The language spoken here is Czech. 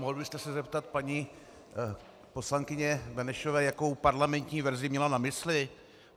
Mohl byste se zeptat paní poslankyně Benešové, jakou parlamentní verzi měla na mysli?